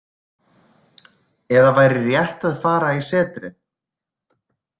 Eða væri rétt að fara í setrið?